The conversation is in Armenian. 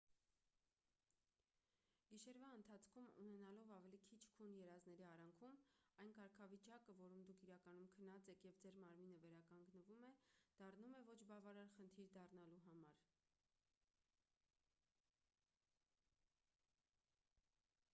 գիշերվա ընթացքում ունենալով ավելի քիչ քուն երազների արանքում այն կարգավիճակը որում դուք իրականում քնած եք և ձեր մարմինը վերականգնվում է դառնում է ոչ բավարար խնդիր դառնալու համար